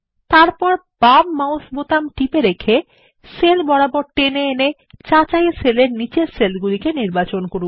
তারপর বাম mouse button টিপে এবং সেল বরাবর টেনে এনে যাচাই সেল এর নীচের সেল নির্বাচন করুন